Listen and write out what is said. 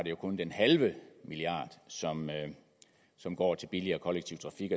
jo kun den halve milliard som som går til billigere kollektiv trafik